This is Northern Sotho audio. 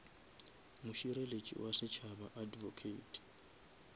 mošireletši wa setšhaba advocate